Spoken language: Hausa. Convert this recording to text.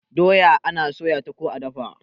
doya ana soya ta ko a dafa